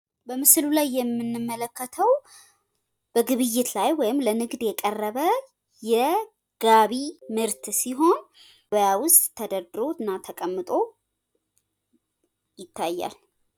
ንግድ የኢኮኖሚ እድገት ዋና አንቀሳቃሽ ሲሆን የስራ ዕድል በመፍጠርና የኑሮ ደረጃን በማሻሻል አስተዋጽኦ ያደርጋል።